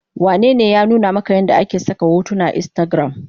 Wanene ya nuna maka yadda ake saka hotuna akan instagram?